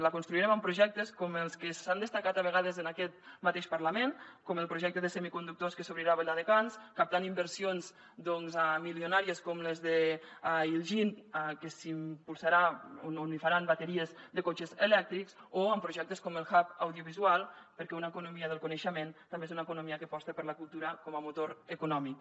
la construirem amb projectes com els que s’han destacat a vegades en aquest mateix parlament com el projecte de semiconductors que s’obrirà a viladecans captant inversions milionàries com les d’iljin que s’impulsarà on faran bateries de cotxes elèctrics o amb projectes com el hub audiovisual perquè una economia del coneixement també és una economia que aposta per la cultura com a motor econòmic